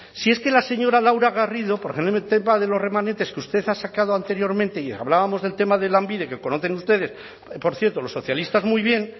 si es que la señora laura garrido porque en el tema de los remanentes que usted ha sacado anteriormente y hablábamos del tema de lanbide que conocen ustedes por cierto los socialistas muy bien